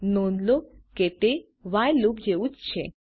નોંધ લો કે તે વ્હાઇલ લૂપ જેવું જ છે